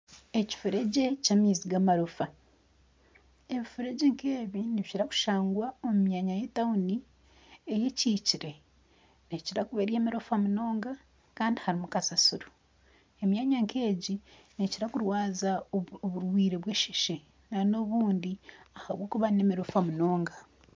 Ekifuregye ky'amaizi gamarofa ekifuregye nkebi nibikira kushangwa omu mwanya eyetauni eyekikire neekira kuba eri emirofa munonga kandi harimu kasasiro emyanya nk'egi neekira kurwaza oburwaire bwesheshe nana obundi ahakuba n'emirofa munonga